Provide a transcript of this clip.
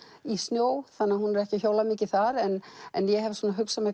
í snjó þannig að hún er ekki að hjóla mikið þar en ég hef hugsað mér